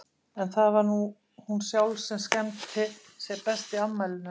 En það var nú hún sjálf sem skemmti sér best í afmælinu.